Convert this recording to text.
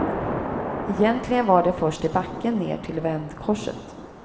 Egentligen var det först i backen ner till vändkorset.